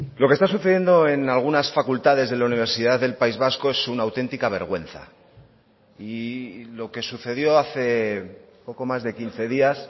lo que está sucediendo en algunas facultades de la universidad del país vasco es una auténtica vergüenza y lo que sucedió hace poco más de quince días